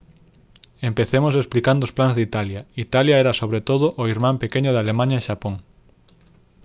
empecemos explicando os plans de italia italia era sobre todo o irmán pequeno de alemaña e xapón